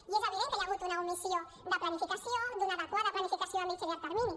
i és evident que hi ha hagut una omissió de planificació d’una adequada planificació a mitjà i llarg termini